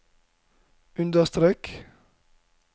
understrek